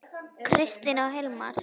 Kristín og Hilmar.